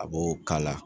A b'o k'a la